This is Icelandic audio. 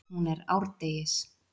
Hún er árdegis.